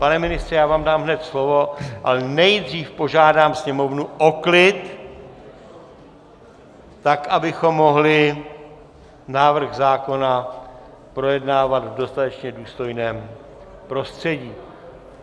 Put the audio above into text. Pane ministře, já vám dám hned slovo, ale nejdřív požádám sněmovnu o klid, tak abychom mohli návrh zákona projednávat v dostatečně důstojném prostředí.